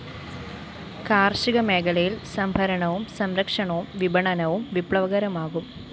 കാര്‍ഷിക മേഖലയില്‍ സംഭരണവും സംരക്ഷണവും വിപണനവും വിപ്ലവകരമാകും